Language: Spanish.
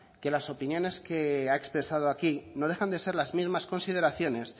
que las opiniones que ha expresado aquí no dejan de ser las mismas consideraciones